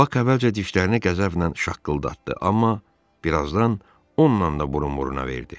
Bak əvvəlcə dişlərini qəzəblə şaqqıldatdı, amma birazdan onunla da burun-buruna verdi.